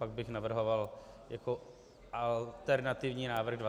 Pak bych navrhoval jako alternativní návrh 20 dnů.